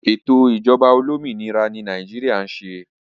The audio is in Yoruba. Ètò ìjọba olómìnira ni Nàìjíríà ń ṣe